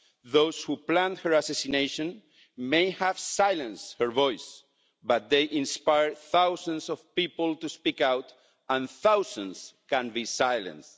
Those who planned her assassination may have silenced her voice, but they inspired thousands of people to speak out, and thousands can't be silenced.